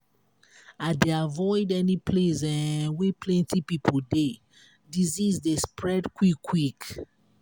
i dey avoid any place um wey plenty pipo dey disease dey spread quick-quick.